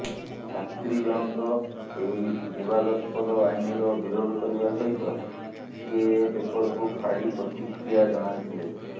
ଛାତ୍ରୀ ଜଣଙ୍କ ଏହି ବିବାଦସ୍ପଦ ଆଇନର ବିରୋଧ କରିବା ସହିତ ସିଏଏ ପେରରକୁ ଫାଡି ପ୍ରତିକ୍ରିୟା ଜଣାଇଥିଲେ